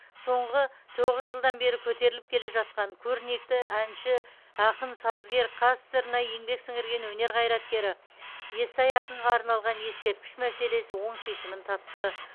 соңғы тоғыз жылдан бері көтеріліп келе жатқан көрнекті әнші ақын сазгер қазсср на еңбек сіңірген өнер қайраткері естай ақынға арналған ескерткіш мәселесі оң шешімін тапты